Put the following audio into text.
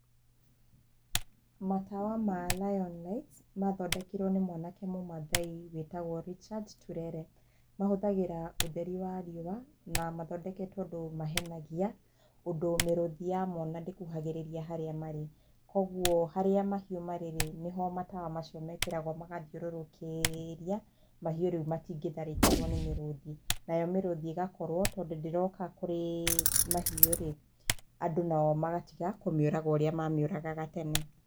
Matawa ma Lion Lights mathondekirwo nĩ mwanake mũmathai wĩtagwo Richard Turere mahũthagĩra ũtheri wa riũa na mathondeketwo ũndũ mahenagia ũndũ mĩrũthi yamona ndĩkuhagĩrĩria harĩa marĩ kwoguo harĩa mahiũ marĩ rĩ, nĩho matawa macio mekĩragwo magathiũrũrũkĩria, mahiũ rĩu matingĩtharĩkĩrwo nĩ mĩrũthi nayo mĩrũthi ĩgakorwo tondũ ndĩroka kũrĩ mahiũ rĩ, andũ nao magatiga kũmĩuraga ũrĩa mamiũragaga tene.